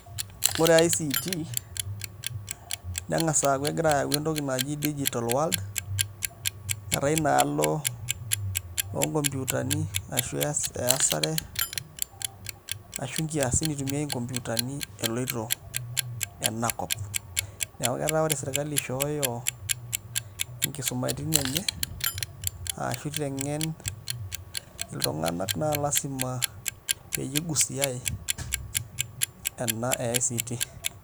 Ore ICT neng'as aaku egira ayau entoki naji digital world etaa inaalo onkompyutani ashu nkiasin itumiai inkompyutani eloito enakop neeku keeta sirkali ishooyo nkisumaitin enye ashu iteng'en iltunganak, naa lasima peyie igusiai ena e ICT.